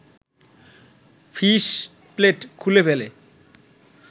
fishplate খুলে ফেলে